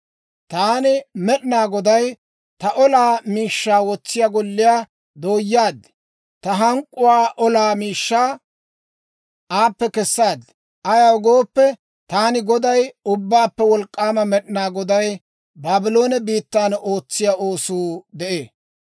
Taani Med'inaa Goday ta olaa miishshaa wotsiyaa golliyaa dooyaad; ta hank'k'uwaa olaa miishshaa aappe kessaad. Ayaw gooppe, taani Goday, Ubbaappe Wolk'k'aama Med'inaa Goday Baabloone biittan ootsiyaa oosuu de'ee.